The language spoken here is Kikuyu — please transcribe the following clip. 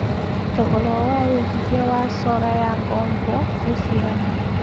thogora wa wĩigĩthĩa wa solar ya ngombo nĩ cĩgana